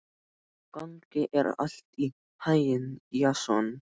Gangi þér allt í haginn, Jason.